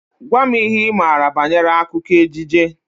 Gwa m ihe Ị maara banyere akụkọ ejije!